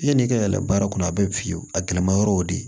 Yann'i ka yɛlɛ baara kɔnɔ a bɛɛ bɛ fiyewu a gɛlɛma yɔrɔw de